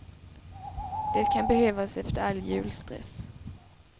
Det kan behövas efter all julstress.